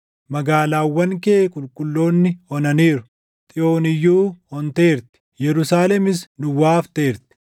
Magaalaawwan kee qulqulloonni onaniiru; Xiyoon iyyuu onteerti; Yerusaalemis duwwaa hafteerti.